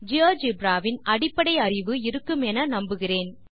GeoGebra வின் அடிப்படை அறிவு இருக்குமெனெ நம்புகிறேன்